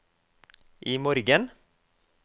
imorgen